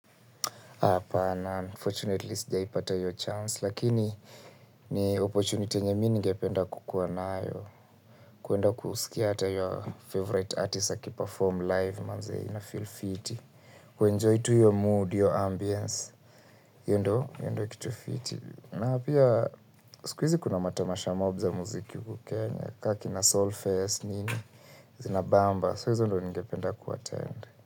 Apana, unfortunately, sija ipata ya chansi. Lakini, ni opportunity nyenye mi ningependa kukuwa nayo. Kuenda kusikia ata your favorite artist akiperforme live, manzee, ina feel fiti. Kuenjoy tu hiyo mood, hiyo ambience. Hiyo ndio, hiyo ndio kitu fiti. Napia, sikuizi kuna matamasha mob za muziki huku kenya, ka kina soul fest, nini, zina bamba, so hizo ndo ningependa kuatttend.